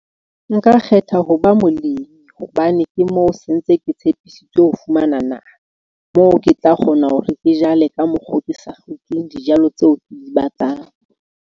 Nka kgetha ho ba molemi hobane ke moo sentse, ke tshepisitswe ho fumana naha moo, ke tla kgona hore ke jale ka mokgo ke sa hlokeng dijalo tseo ke di batlang.